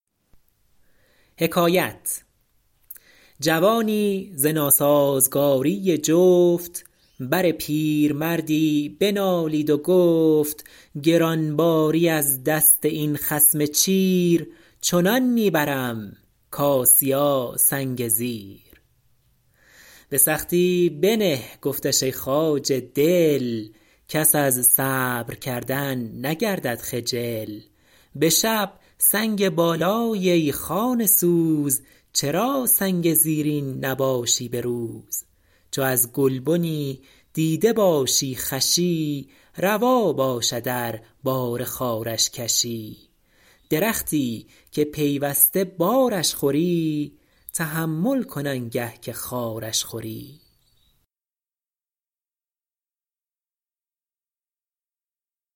جوانی ز ناسازگاری جفت بر پیرمردی بنالید و گفت گران باری از دست این خصم چیر چنان می برم کآسیاسنگ زیر به سختی بنه گفتش ای خواجه دل کس از صبر کردن نگردد خجل به شب سنگ بالایی ای خانه سوز چرا سنگ زیرین نباشی به روز چو از گلبنی دیده باشی خوشی روا باشد ار بار خارش کشی درختی که پیوسته بارش خوری تحمل کن آنگه که خارش خوری